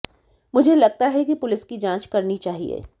मुझे लगता है कि पुलिस की जांच करनी चाहिए